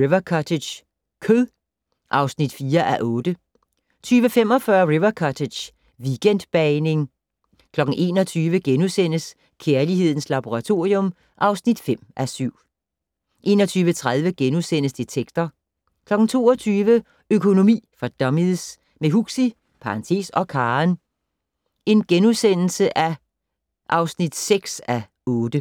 River Cottage - kød (4:8) 20:45: River Cottage - weekendbagning 21:00: Kærlighedens Laboratorium (5:7)* 21:30: Detektor * 22:00: Økonomi for dummies - med Huxi (og Karen) (6:8)*